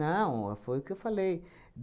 foi o que eu falei.